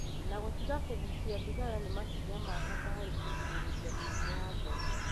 Na gũtiga kũgucia thigara nĩ makinya ma bata harĩ kũgirĩrĩria mĩrimũ ya ngoro.